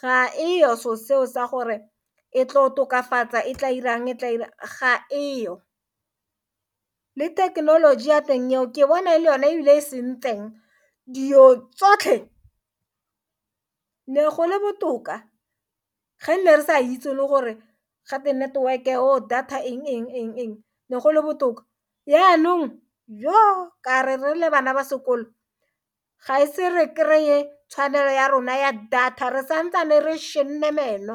ga e yo so seo sa gore e tlo tokafatsa e tla irang e tla irang ga e yo le thekenoloji ya teng eo ke bona e le yone e bile e sentseng dilo tsotlhe ne go le botoka ge nne re sa itse le gore ga te network-e or data eng eng le gole botoka, yanong yo ka re le bana ba sekolo ga e se re kry-e tshwanelo ya rona ya data re santsane re šhenne meno.